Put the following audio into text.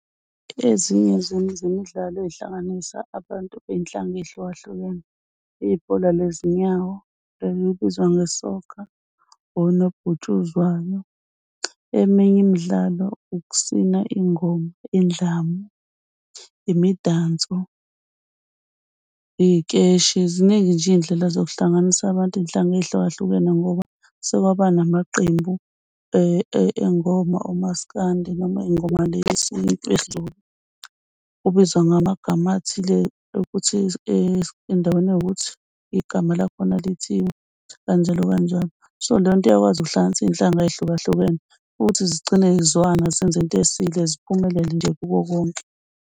Ezinye zemidlalo ey'hlanganisa abantu bey'nhlanga ey'hlukahlukene, ibhola lezinyawo elibizwa nge-soccer or unobhutshuzwayo. Eminye imidlalo ukusina, ingoma, indlamu, imidanso, ikeshi, ziningi nje iy'ndlela zokuhlanganisa abantu, iy'nhlanga ezihlukahlukene ngoba sekwaba namaqembu engoma oMasikandi noma ey'ngoma yesiZulu. Ubizwa ngamagama athile ukuthi endaweni ewukuthi igama lakho lithini, kanjalo kanjalo. So, leyo nto iyakwazi ukuhlanganisa iy'nhlanga ey'hlukahlukene ukuthi zigcine y'zwana zenze into esile. Ziphumelele nje kukho konke.